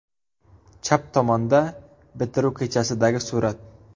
Chap tomonda bitiruv kechasidagi surat.